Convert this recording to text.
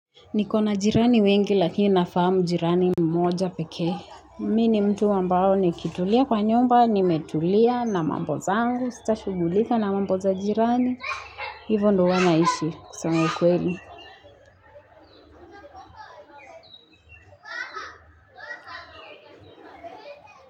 Nikona jirani wengi lakini nafahamu jirani mmoja peke. Mi ni mtu ambao nikitulia kwa nyumba, nimetulia na mambo zangu. Sitashugulika na mambo za jirani. Hivo ndo huwa naishi kusema ukweli.